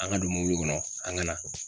An ka don mɔbili kɔnɔ an ka na